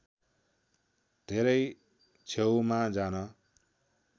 धेरै छेऊमा जान